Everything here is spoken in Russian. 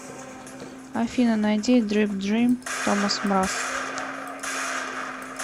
афина найди дрип дрим томас мраз